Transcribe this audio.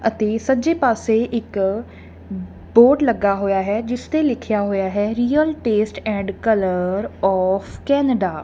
ਤੇ ਸੱਜੇ ਪਾਸੇ ਇੱਕ ਬੋਰਡ ਲੱਗਾ ਹੋਇਆ ਹੈ ਜਿਸ ਤੇ ਲਿੱਖਿਆ ਹੋਇਆ ਹੈ real taste and colour of Canada.